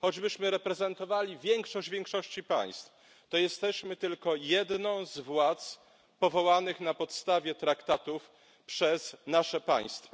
choćbyśmy reprezentowali większość większości państw, to jesteśmy tylko jedną z władz powołanych na podstawie traktatów przez nasze państwa.